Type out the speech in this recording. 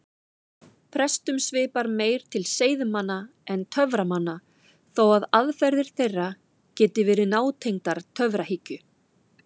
Prestum svipar meir til seiðmanna en töframanna þó að aðferðir þeirra geti verið nátengdar töfrahyggju.